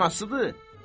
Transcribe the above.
Ya anasıdır?